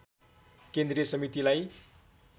केन्द्रीय समितिलाई